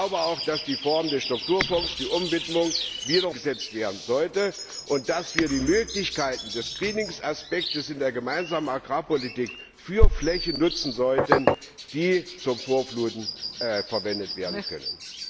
Ich glaube auch, dass die Reform der Strukturfonds, die Umwidmung umgesetzt werden sollte und dass wir die Möglichkeiten des Greening Aspekts in der Gemeinsamen Agrarpolitik für Flächen nutzen sollten, die zum Vorfluten verwendet werden können.